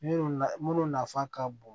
Minnu na minnu nafa ka bon